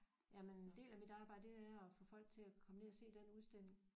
Jamen en del af mit arbejde det er at få folk til at komme ned og se den udstilling